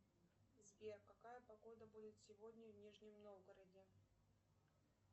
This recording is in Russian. сбер какая погода будет сегодня в нижнем новгороде